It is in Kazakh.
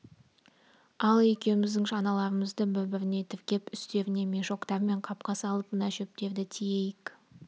ал екеуміздің шаналарымызды бір-біріне тіркеп үстеріне мешоктар мен қапқа салып мына шөптерді тиейік